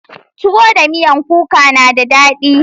Tuwo da miyan kuka na da daɗi.